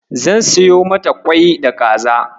Zan siyo mata ƙwai da kaza.